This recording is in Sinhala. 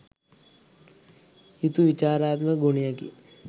යුතු විචාරාත්මක ගුණයකි.